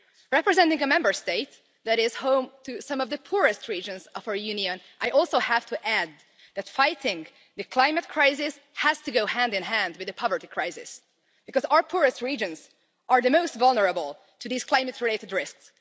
Representing a Member State that is home to some of the poorest regions of our Union, I also have to add that fighting the climate crisis has to go hand in hand with the poverty crisis, because our poorest regions are the most vulnerable to these climate related risks.